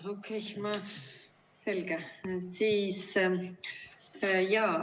Okei, selge.